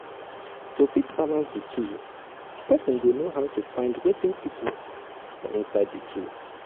to fit balance di two person go um know how to find wetin fit work for inside di two